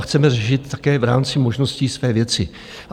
A chceme řešit také v rámci možností své věci.